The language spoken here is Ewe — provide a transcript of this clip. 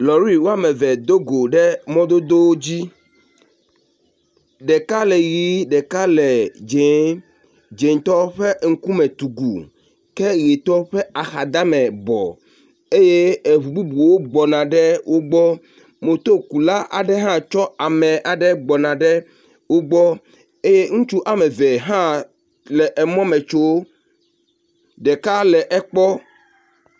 Lɔri eme eve do go ɖe mɔdodo dzi. Ɖeka le ʋi, ɖeka le dziẽ. Dziẽtɔ ƒe ŋkume tsugu ke ʋitɔ ƒe axadame bɔ. Eye eŋu bubuwo gbɔna ɖe wogbɔ. Motokula aɖe hã tsɔ ame aɖe gbɔna va wogbɔ eye ŋutsu eme eve hã le mɔ me tso ɖeka le ekpɔ.